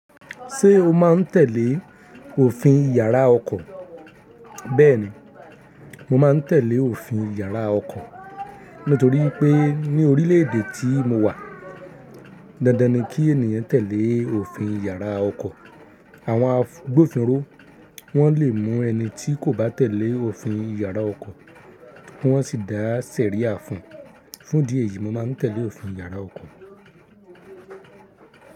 Ṣé o máa ń tẹ̀lé òfin yàrá ọkọ̀? Bẹ́ẹ̀ni, mo máa ń tẹ̀lé òfin yàrá ọko, nítorí i pé ní orílè èdè tí mo wà, dandan ni kí ènìyàn tẹ̀lé òfin yàrá ọkọ̀. Àwọn àgbofinró, wọ́n lè mú ẹni tí kò bá tẹ̀lé òfin yàrá ọkọ̀, ki wọ́n sì dá sẹ̀ríà fún un. Fún ìdí èyí, mo máa ń tẹ̀lé òfin yàrá ọkọ̀.